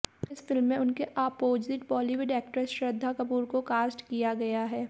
इस फिल्म में उनके opposite Bollywood actress Shraddha Kapoor को कास्ट किया गया है